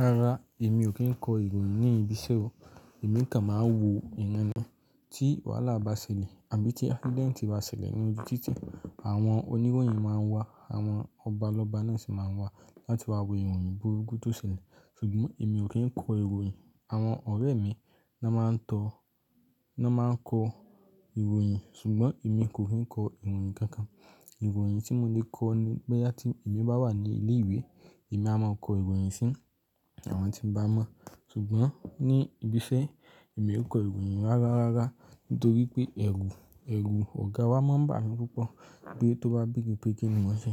Rárá, èmi ò kí ń kọ ìròyìn ní ibi iṣẹ́ o. Ẹ̀mi kàn máa ń wo ìran ni tí wàhálà bá ṣẹlẹ̀ àbí tí accident bá ṣẹlẹ̀ ní ojú títì. Àwọn oníròyìn máa ń wá, àwọn ọba lọ́ba náà ṣì máa ń wá láti wá wo ìròyìn burúkú tó ṣẹlẹ̀. Ṣùgbọ́n èmi ò kí ń kọ ìròyìn. Àwọn ọ̀rẹ́ mi ló máa ń tọ, ló máa ń kọ ìròyìn, ṣùgbọ́n èmi kò fi ń kọ ìròyìn kankan. Ìròyìn tí mo lè kọ ni bóyá tí èmi bá wà ní ilé ìwé, èmi a máa kọ ìròyìn sí àwọn tí n bá mọ̀. Ṣùgbọ́n ní ibi iṣẹ́, èmi ò kọ ìròyìn rárá rárá nítorí pé ẹrù, ẹrù ọ̀gá wa máa ń bà mí púpọ̀ pé tó bá béèrè pé kí ni mọ́ n ṣe